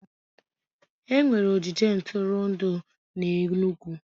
Enwere ogige ntụrụndụ n'Enugwu